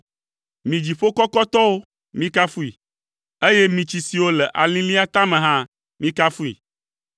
Mi dziƒo kɔkɔtɔwo, mikafui, eye mi tsi siwo le alilĩa tame hã mikafui.